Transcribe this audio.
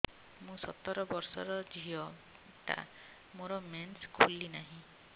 ମୁ ସତର ବର୍ଷର ଝିଅ ଟା ମୋର ମେନ୍ସେସ ଖୁଲି ନାହିଁ